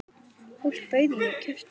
Fólk bauð í og keypti.